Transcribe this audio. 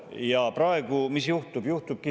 Ja praegu mis juhtub?